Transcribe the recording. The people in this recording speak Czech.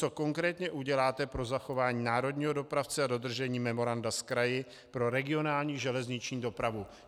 Co konkrétně uděláte pro zachování národního dopravce a dodržení memoranda s kraji pro regionální železniční dopravu?